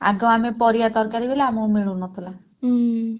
ଆଗ ଆମେ ପରିବା ତରକାରୀ କଲେ ଆମକୁ ମିଳୁନଥିଲା।